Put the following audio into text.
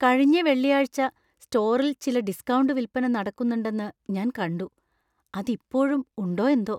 കഴിഞ്ഞ വെള്ളിയാഴ്ച സ്റ്റോറിൽ ചില ഡിസ്കൌണ്ട് വിൽപ്പന നടക്കുന്നുണ്ടെന്ന് ഞാൻ കണ്ടു. അതിപ്പോഴും ഉണ്ടോയെന്തോ!